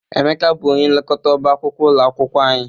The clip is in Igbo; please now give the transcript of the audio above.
Emeka bụ onye nlekọta ọba akwụkwọ ụlọ akwụkwọ anyị.